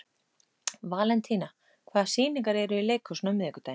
Valentína, hvaða sýningar eru í leikhúsinu á miðvikudaginn?